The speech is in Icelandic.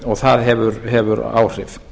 og það hefur áhrif